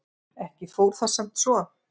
Ekki fór það samt svo.